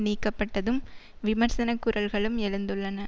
நீக்கப்பட்டதும் விமர்சனக் குரல்களும் எழுந்துள்ளன